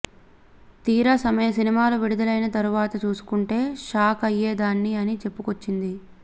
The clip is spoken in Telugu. తీరా సినిమాలు విడుదలైన తరువాత చూసుకుంటే షాక్ అయ్యేదాన్ని అని చెప్పుకొచ్చింది